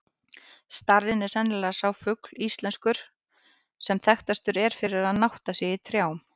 Starinn er sennilega sá fugl íslenskur, sem þekktastur er fyrir að nátta sig í trjám.